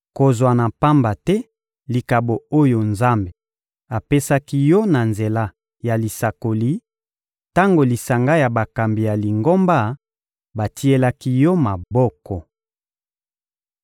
Kozwa na pamba te likabo oyo Nzambe apesaki yo na nzela ya lisakoli, tango lisanga ya bakambi ya Lingomba batielaki yo maboko.